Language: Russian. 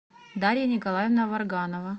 дарья николаевна варганова